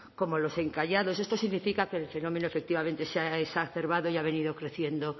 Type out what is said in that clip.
como los encallados esto significa que el fenómeno efectivamente se ha exacerbado y ha venido creciendo